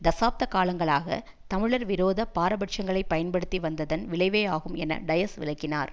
தசாப்த காலங்களாக தமிழர் விரோத பாரபட்சங்களை பயன்படுத்தி வந்ததன் விளைவேயாகும் என டயஸ் விளக்கினார்